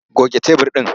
Goge tebur ɗin!